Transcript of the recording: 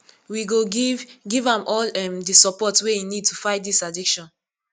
we go giv giv am all um di support wey e need to fight dis addiction